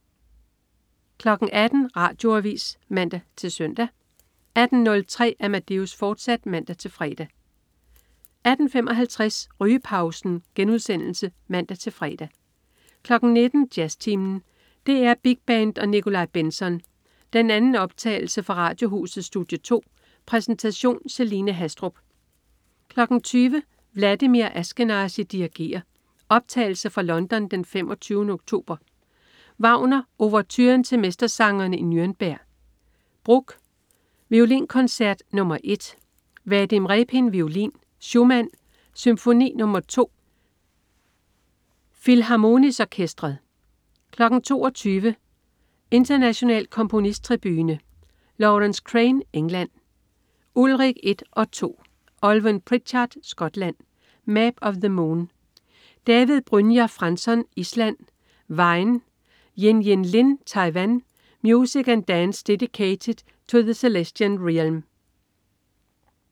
18.00 Radioavis (man-søn) 18.03 Amadeus, fortsat (man-fre) 18.55 Rygepausen* (man-fre) 19.00 Jazztimen. DR Big Band og Nikolaj Bentzon. Den anden optagelse fra Radiohusets studie 2. Præsentation: Celine Haastrup 20.00 Vladimir Ashkenazy dirigerer. Optagelse fra London den 25. oktober. Wagner: Ouverturen til Mestersangerne i Nürnberg. Bruch: Violinkoncert nr. 1. Vadim Repin, violin. Schumann: Symfoni nr. 2. Philharmonis Orkestret 22.00 International Komponisttribune. Laurence Crane (England): Ullrich 1 and 2. Alwynne Pritchard (Skotland): Map of the Moon. David Brynjar Franzson (Island): Hvein. Yin-Yin Lin (Taiwan): Music and Dance Dedicated to the Celestian Realm